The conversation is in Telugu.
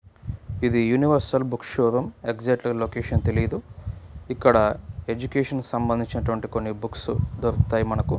ఇది universal book show room exact గా లొకేషన్ తెలియదు ఇక్కడ ఎడ్యుకేషన్ కి సంబంధించినటువంటి బుక్స్ దొరుకుతాయి మనకు.